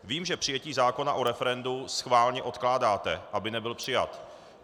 Vím, že přijetí zákona o referendu schválně odkládáte, aby nebyl přijat.